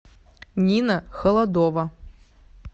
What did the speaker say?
нина холодова